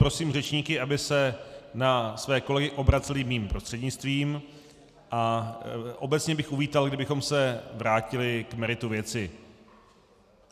Prosím řečníky, aby se na své kolegy obraceli mým prostřednictvím, a obecně bych uvítal, kdybychom se vrátili k meritu věci.